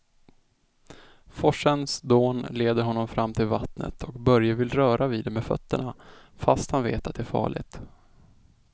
Forsens dån leder honom fram till vattnet och Börje vill röra vid det med fötterna, fast han vet att det är farligt.